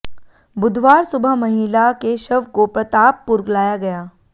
बुधवार सुबह महिला के शव को प्रतापपुर लाया गया